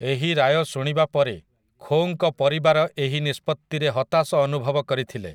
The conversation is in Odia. ଏହି ରାୟ ଶୁଣିବା ପରେ ଖୋଙ୍କ ପରିବାର ଏହି ନିଷ୍ପତ୍ତିରେ ହତାଶ ଅନୁଭବ କରିଥିଲେ ।